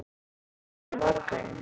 Kemurðu á morgun?